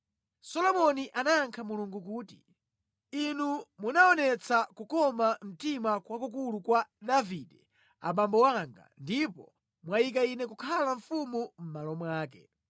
Solomoni anayankha Mulungu kuti, “Inu munaonetsa kukoma mtima kwakukulu kwa Davide abambo anga ndipo mwayika ine kukhala mfumu mʼmalo mwake.